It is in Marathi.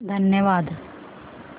धन्यवाद